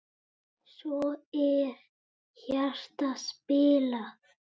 Svo er hjarta spilað.